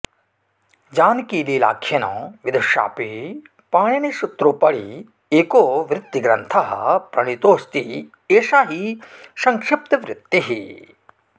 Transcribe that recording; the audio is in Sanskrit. जानकीलालाख्येन विदुषाऽपि पाणिनीयसूत्रोपरि एको वृत्तिग्रन्थः प्रणीतोऽस्ति एषा हि संक्षिप्तबृत्तिः